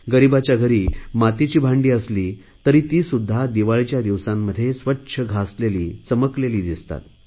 गरीबांच्या घरी मातीची भांडी असली तरी ती सुध्दा दिवाळीच्या दिवसांमध्ये स्वच्छ घासलेली चमकलेली दिसतात